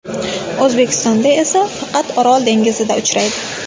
O‘zbekistonda esa faqat Orol dengizida uchraydi.